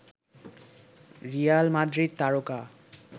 Real Madrid তারকা